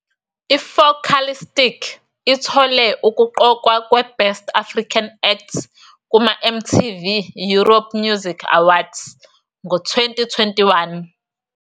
I-Focalistic ithole ukuqokwa kwe- Best African Act kuma- MTV Europe Music Awards ngo-2021.